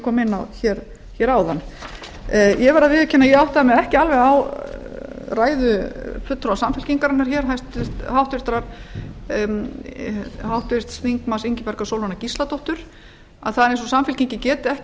kom inn á hér áðan ég verð að viðurkenna að ég áttaði mig ekki alveg á ræðu fulltrúa samfylkingarinnar hér háttvirtur þingmaður ingibjargar sólrúnar gísladóttur að það er eins og samfylkingin geti ekki